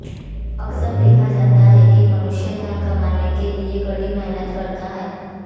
अक्सर देखा जाता है कि धन कमाने के लिए मनुष्य कड़ी मेहनत भी करता है